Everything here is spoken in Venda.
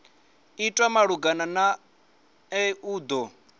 itwa malugana nae u do